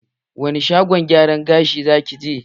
Wani shagon gyaran gashi za ki je?